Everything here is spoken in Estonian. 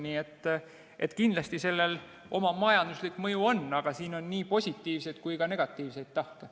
Nii et kindlasti sellel oma majanduslik mõju on, aga siin on nii positiivseid kui ka negatiivseid tahke.